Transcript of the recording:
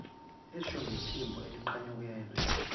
esho ngephimbo elinqanyukelwa